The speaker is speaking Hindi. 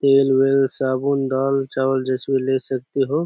तेल वेल साबुन दाल चावल जैसे ले सकते हो ।